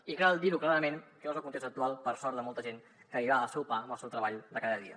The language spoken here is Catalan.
i cal dir ho clarament que no és el context actual per sort de molta gent que li va el seu pa amb el seu treball de cada dia